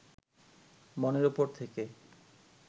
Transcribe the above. মনের উপর থেকে